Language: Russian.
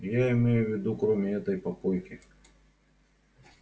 я имею в виду кроме этой попойки